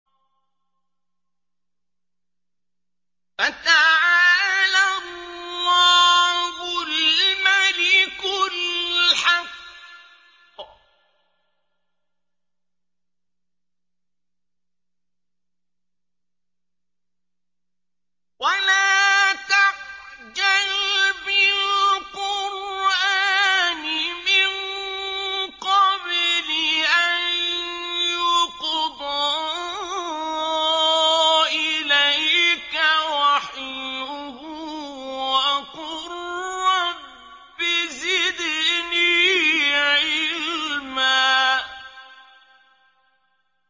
فَتَعَالَى اللَّهُ الْمَلِكُ الْحَقُّ ۗ وَلَا تَعْجَلْ بِالْقُرْآنِ مِن قَبْلِ أَن يُقْضَىٰ إِلَيْكَ وَحْيُهُ ۖ وَقُل رَّبِّ زِدْنِي عِلْمًا